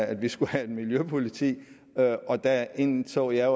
at vi skulle have et miljøpoliti og der indså jeg